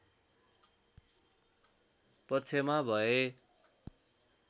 पक्षमा भए